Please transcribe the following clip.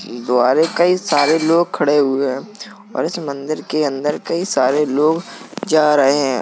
यह द्वार है कई सारे लोग खड़े हुए हैं और इस मंदिर के अंदर कई सारे लोग जा रहे हैं।